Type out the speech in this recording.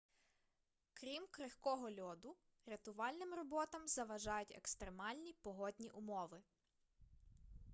крім крихкого льоду рятувальним роботам заважають екстремальні погодні умови